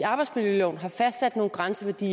de